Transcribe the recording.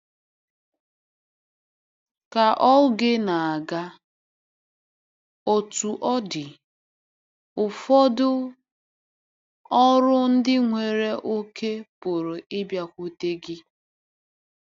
Ka oge na-aga, Otú ọ dị, ụfọdụ ọrụ ndị nwere oke pụrụ ịbịakwute gị.